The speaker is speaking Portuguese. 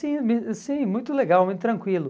Sim, sim, muito legal, muito tranquilo.